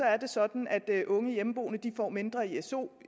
er det sådan at unge hjemmeboende får mindre i su